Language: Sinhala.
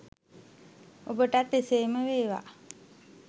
ඔබටත් එසේම වේවා!